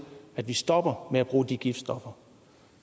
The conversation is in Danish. at vi stopper med at bruge de giftstoffer